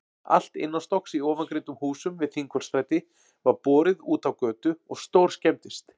Allt innanstokks í ofangreindum húsum við Þingholtsstræti var borið útá götu og stórskemmdist.